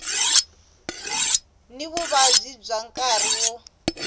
ni vuvabyi bya nkarhi wo